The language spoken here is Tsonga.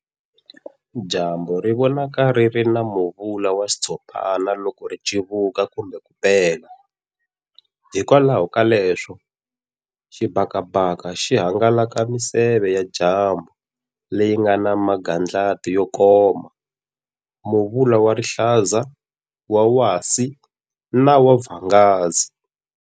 Dyambu ri vonaka riri na muvula wa xitshopana loko ritsivuka kumbe ku pela, hikwalaho ka leswi xibhakabhaka xi hangalasaka miseve ya dyambu leyi ngana magandlati yo koma, Muvula wa rihlaza, wa wasi na wa vhangazi